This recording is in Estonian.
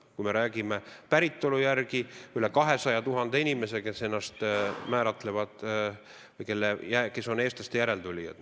Kui räägime päritolu järgi, siis üle 200 000 inimese on või määratlevad end eestlaste järeltulijatena.